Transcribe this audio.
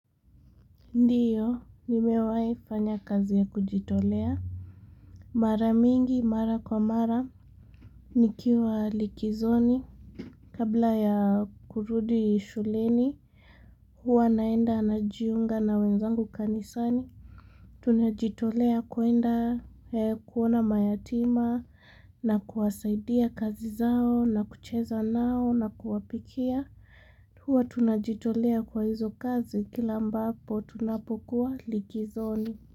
Ndio, nimewai fanya kazi ya kujitolea. Mara mingi, mara kwa mara, nikiwa likizoni. Kabla ya kurudi shuleni, huwa naenda najiunga na wenzangu kanisani. Tunajitolea kuenda kuona mayatima, na kuwasaidia kazi zao, na kucheza nao, na kuwapikia. Huwa tunajitolea kwa hizo kazi kila ambapo tunapokuwa likizoni.